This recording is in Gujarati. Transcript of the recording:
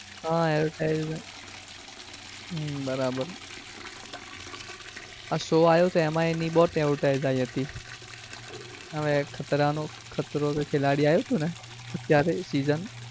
હા advertise હમ બરાબર આ show આવ્યો હતો ને એમાંબઉ એની advertise આવી હતી ખતરા નો ખતરો કે ખેલાડી આવ્યું હતું ને ત્યારે season